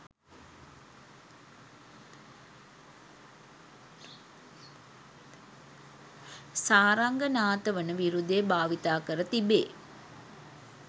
සාරංගනාථ වන විරුදය භාවිත කර තිබේ.